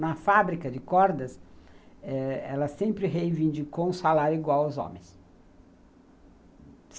Na fábrica de cordas, eh, ela sempre reivindicou um salário igual aos homens.